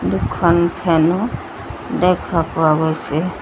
দুখন ফেন ও দেখা পোৱা গৈছে।